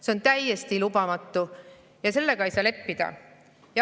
See on täiesti lubamatu ja sellega ei saa leppida.